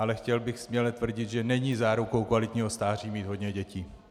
Ale chtěl bych směle tvrdit, že není zárukou kvalitního stáří mít hodně dětí.